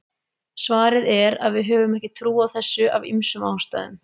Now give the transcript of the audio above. Svarið er að við höfum ekki trú á þessu af ýmsum ástæðum.